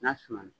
N'a suma